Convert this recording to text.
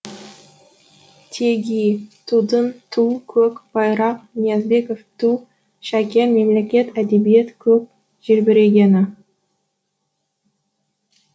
теги тудың ту көк байрақ ниязбеков ту шәкен мемлекеттік әдебиет көк желбірегені